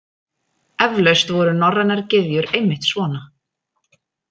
Eflaust voru norrænar gyðjur einmitt svona.